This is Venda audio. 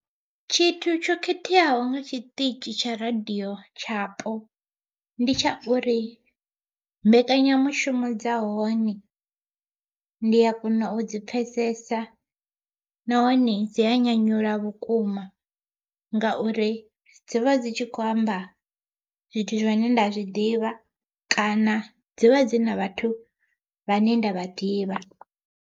Tshithu tsho khetheaho nga tshiṱitshi tsha radiyo tshapo, ndi tsha uri mbekanyamushumo dza hone ndi a kona u dzi pfhesesa nahone dzi a nyanyula vhukuma ngauri dzivha dzi tshi kho amba zwithu zwane nda zwiḓivha kana dzivha dzi na vhathu vhane nda vha ḓivha.